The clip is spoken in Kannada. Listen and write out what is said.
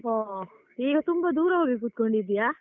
ಹೊ ಈಗ ತುಂಬ ದೂರ ಹೋಗಿ ಕೂತ್ಕೊಂಡಿದ್ದೀಯಾ.